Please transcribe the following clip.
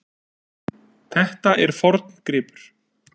Þetta er forngripur.